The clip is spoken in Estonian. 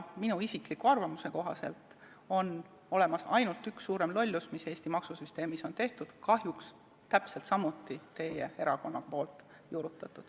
Minu isikliku arvamuse kohaselt on olemas ainult üks suurem lollus, mis Eesti maksusüsteemis on tehtud, kahjuks täpselt samuti teie erakonna juurutatud.